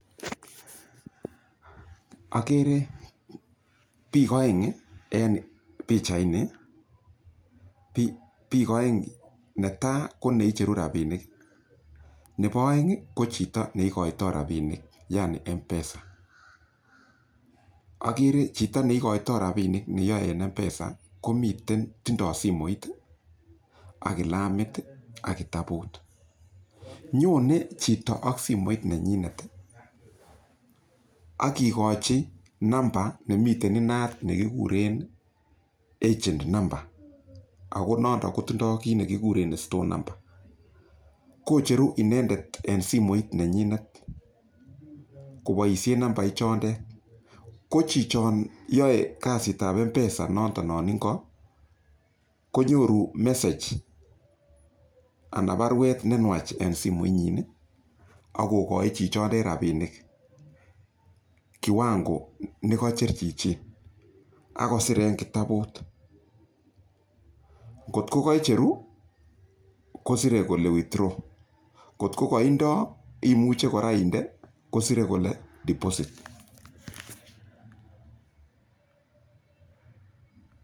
Akere pik aeng' en pichaini. Pik aeng' , ne tai ko ne icheru rapinik. Nepo aeng' i, ko chito ne ikaitai rapinik yani Mpesa. Akere chito ne ikaitai rapinik, yani ne yae eng' Mpesa ko miten, tindai simoit ak kalamit ak kitaput. Nyone cjito ak simoit ne nyinet ak kikachj nambait ne mitei inat ne kikuren agent number ako notok ko tindai kit ne kikure store number. Ko cheru inendet eng' simoit ne nyinet kopoishen namban ichotet. Ko chichon yoe kasit ap Mpesa notonon eng' ko, konyoru message anan parwet ne nwach eng' simoit ak kokachi chichotet kiwango ne kacher chichi ako kosir eng' kitaput.l Ngot ko kaichero kosire kole 'withdraw[ce] ngo ko kaindai imuchi kora inde ko sire kole deposit.